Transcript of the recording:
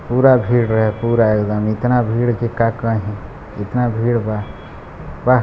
पूरा भीड़ रहे पूरा एकदम इतना भीड़ की का कही इतना भीड़ बा --